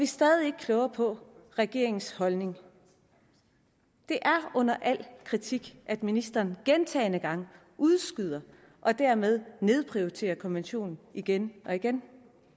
stadig ikke klogere på regeringens holdning det er under al kritik at ministeren gentagne gange udskyder og dermed nedprioriterer konventionen igen og igen